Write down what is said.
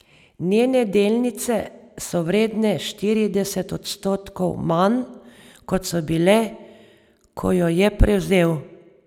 Njene delnice so vredne štirideset odstotkov manj, kot so bile, ko jo je prevzel.